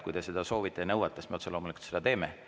Kui te seda soovite ja nõuate, siis me loomulikult seda teeme.